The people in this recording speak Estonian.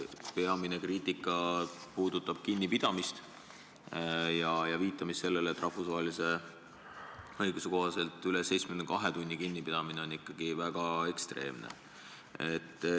Peamine kriitika puudutab kinnipidamist, viidatakse, et rahvusvahelise õiguse kohaselt üle 72 tunni kinnipidamine on ikkagi väga ekstreemne.